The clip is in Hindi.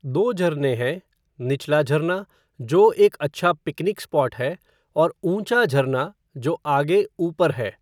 दो झरने हैं, निचला झरना, जो एक अच्छा पिकनिक स्पॉट है, और ऊँचा झरना, जो आगे ऊपर है।